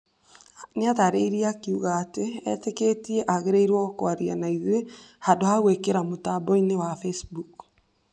Nĩ aataarĩirie akiuga atĩ etĩkĩtie agĩrĩrwo kũaria na ithuĩ handũ ha gwĩkĩra Facebook.